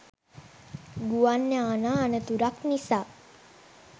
ගුවන් යානා අනතුරක් නිසා